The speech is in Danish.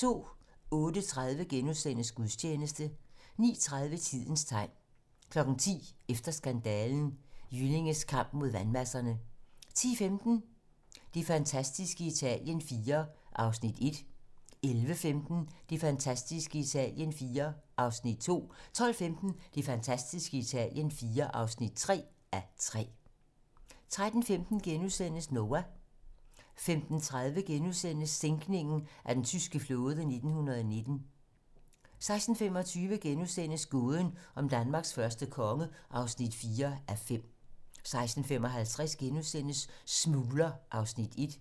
08:30: Gudstjeneste * 09:30: Tidens tegn 10:00: Efter skandalen: Jyllinges kamp mod vandmasserne 10:15: Det fantastiske Italien IV (1:3) 11:15: Det fantastiske Italien IV (2:3) 12:15: Det fantastiske Italien IV (3:3) 13:15: Noah * 15:30: Sænkningen af den tyske flåde i 1919 * 16:25: Gåden om Danmarks første konge (4:5)* 16:55: Smugler (Afs. 1)*